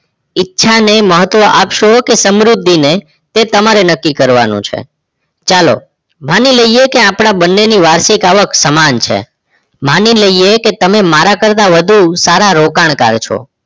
ઈચ્છાને મહત્વ આપશો કે સમૃદ્ધિને તે તમારે નક્કી કરવાનું છે ચાલો માની લઈએ આપણા બંનેની વાર્ષિક આવક સમાન છે માની લઈએ કે તમે મારા કરતાં વધુ સારા રોકાણકાર છો